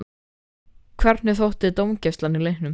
Hvernig þótti þér dómgæslan í leiknum?